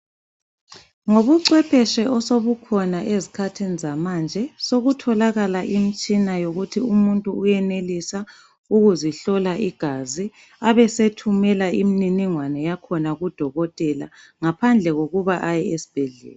Ngobuchwepheshe osobukhona ezikhathini zamanje sokutholakala imitshina yokuthi umuntu uyenelisa ukuzihlola igazi abesethumela imniningwane yakhona kuDokotela ngaphandle kokuba aye esibhedlela.